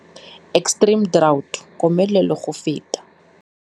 Extreme drought. Komelelo go feta.